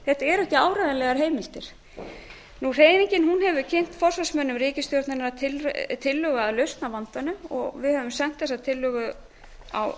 þetta eru ekki áreiðanlegar heimildir hreyfingin hefur kynnt forsvarsmönnum ríkisstjórnarinnar tillögu að lausn á vandanum og við höfum sent þessa tillögu á